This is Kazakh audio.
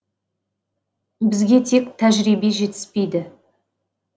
бізге тек тәжірибе жетіспейді